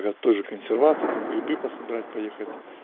тоже консервации там грибы пособирать поехать